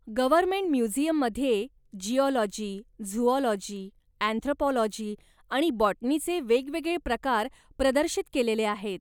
Government म्युझियममध्ये geology, zoology, anthropology आणि बाॅटनीचे वेगवेगळे प्रकार प्रदर्शित केलेले आहेत.